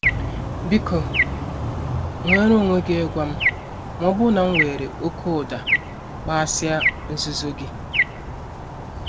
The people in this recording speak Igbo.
Biko nweere onwe gị ịgwa m ma ọ bụrụ na m were oke ụda kpaghasịa nzuzo gị.